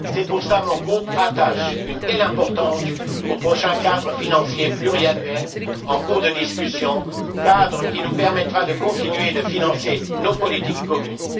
C'est pour cela que mon groupe attache une telle importance au prochain cadre financier pluriannuel en cours de discussion, cadre qui nous permettra de continuer à financer nos politiques communes.